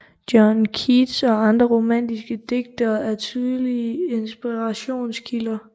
John Keats og andre romatiske digtere er tydelige inspirationskilder